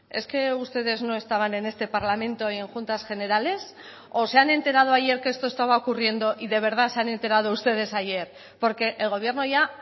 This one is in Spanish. es que ustedes no estaban en este parlamento y en juntas generales o se han enterado ayer que esto estaba ocurriendo y de verdad se han enterado ustedes ayer porque el gobierno ya